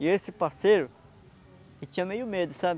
E esse parceiro, ele tinha meio medo, sabe?